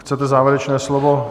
Chcete závěrečné slovo?